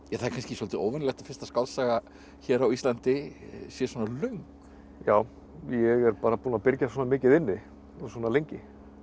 það er kannski svolítið óvenjulegt að fyrsta skáldsaga hér á Íslandi sé svona löng já ég er bara búinn að byrgja svona mikið inni og svona lengi